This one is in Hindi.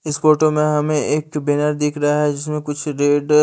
इस फोटो में हमें एक बैनर दिख रहा है जीसमें कुछ रेड --